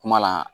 Kuma la